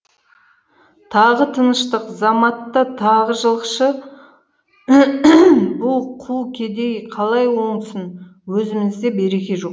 тағы тыныштық заматта тағы жылқышы бұ қу кедей қалай оңсын өзімізде береке жоқ